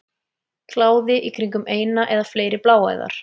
Kláði í kringum eina eða fleiri bláæðar.